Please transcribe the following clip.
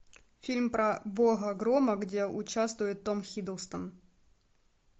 фильм про бога грома где участвует том хиддлстон